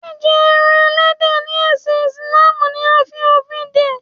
Jíjẹ ẹran Ẹlẹ́dẹ̀ ni ẹsin Ìsìlámù ni a fi òfin dè.